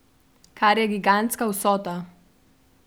Kar je gigantska vsota.